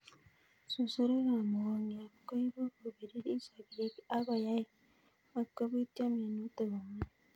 susurik ab mukongiot ko ibu ko piririt sogek ak koyae matko pityo minutik komie